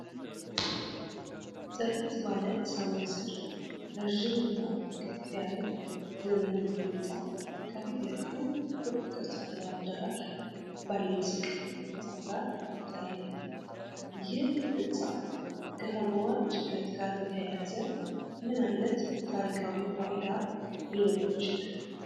ጥርት ባለ ሰማይ ስር፣ ረዥም እና ቀጥ ያለ ዘመናዊ ሕንፃ ከፊትለፊቱ ክብ ቅርጽ ያለው አዳራሽ ባለው ዝቅተኛ ሕንፃ ጋር ይታያል፤ ይህ ሕንፃ ከከተማዋ ዕድገት ጋር በተያያዘ ምን ዓይነት ታሪካዊ ፋይዳ ሊኖረው ይችላል?